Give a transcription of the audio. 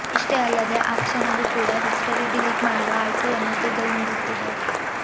ಇಷ್ಟೇ ಅಲ್ಲದೇ ಆ ಕ್ಷಣವೂ ಕೂಡ ಹಿಸ್ಟರಿ ಡಿಲೀಟ್ ಮಾಡುವ ಆಯ್ಕೆಯನ್ನು ಗೂಗಲ್ ನೀಡುತ್ತಿದೆ